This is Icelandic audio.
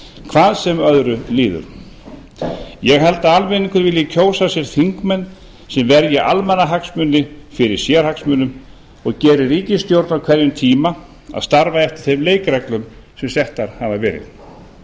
hvað sem öðru líður ég held að almenningur vilji kjósa sér þingmenn sem verja almannahagsmuni fyrir sérhagsmunum og geri ríkisstjórn á hverjum tíma að starfa eftir þeim leikreglum sem settar hafa verið